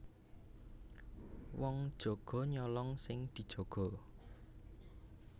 Wong jaga nyolong sing dijaga